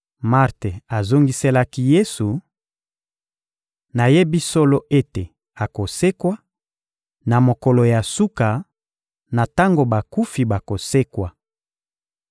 Marte azongiselaki Yesu: — Nayebi solo ete akosekwa, na mokolo ya suka, na tango bakufi bakosekwa.